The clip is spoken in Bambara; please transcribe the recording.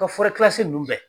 U ka nunnu bɛɛ.